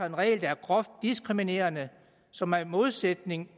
en regel der er groft diskriminerende som er i modsætning